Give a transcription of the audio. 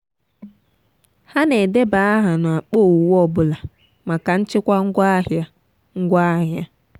ha na-edeba aha n’akpa owuwe ọ bụla maka nchịkwa ngwaahịa. ngwaahịa.